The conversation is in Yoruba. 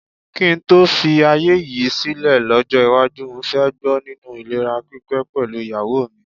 Kí n tó filé ayé yìí sílẹ̀ lọ́jọ́ iwájú, mo fẹ́ gbó nínú ìlera pípé pẹ̀lú ìyàwó mi.